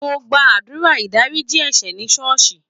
Mo gba àdúrà ìdáríjì ẹ̀ṣẹ̀ ní ṣọ́ọ̀ṣì.